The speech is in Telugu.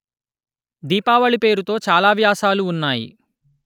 దీపావళి పేరుతో చాలా వ్యాసాలు ఉన్నాయి